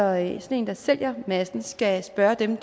at dem der sælger massen skal spørge den